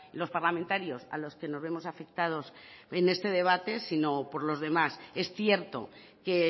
los parlamentarios a los que no vemos afectados en este debate sino por los demás es cierto que